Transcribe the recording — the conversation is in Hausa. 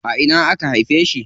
A ina aka haife shi?